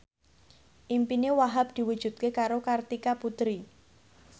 impine Wahhab diwujudke karo Kartika Putri